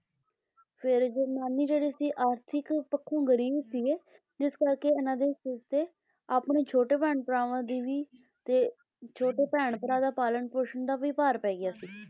ਫੇਰ ਜਿਹੜੇ ਨਾਨੀ ਜਿਹੜੇ ਸੀ ਆਰਥਿਕ ਪੱਖੋਂ ਗਰੀਬ ਸੀਗੇ ਜਿਸ ਕਰਕੇ ਇਹਨਾਂ ਦੇ ਸਿਰ ਤੇ ਆਪਣੇ ਛੋਟੇ ਭੈਣ ਭਰਾਵਾਂ ਦੀ ਵੀ ਤੇ ਛੋਟੇ ਭੈਣ ਭਰਾ ਦਾ ਪਾਲਣ ਪੋਸ਼ਣ ਦਾ ਵੀ ਭਾਰ ਪੈ ਗਿਆ ਸੀ,